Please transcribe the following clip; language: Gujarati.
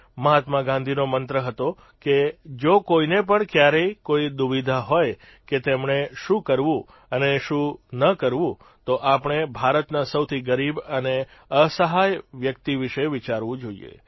મહાત્મા ગાંધીનો મંત્ર હતો કે જો કોઇને પણ ક્યારેય કોઇ દુવિધા હોય કે તેમણે શું કરવું અને શું ન કરવું તો તેમણે ભારતના સૌથી ગરીબ અને અસહાય વ્યક્તિ વિષે વિચારવું જોઇએ